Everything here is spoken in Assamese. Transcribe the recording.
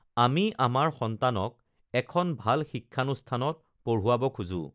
আমি আমাৰ সন্তানক এখন ভাল শিক্ষানুষ্ঠানত পঢ়ুৱাব খোজোঁ